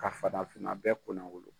Ka farafinna bɛɛ kunna wolo.